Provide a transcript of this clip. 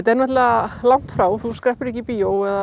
er náttúrulega langt frá þú skreppur ekkert í bíó